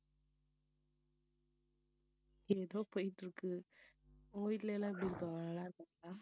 ஏதோ போயிட்டு இருக்கு உங்க வீட்ல எல்லாம் எப்படி இருகாங்க நல்லாருக்காங்களா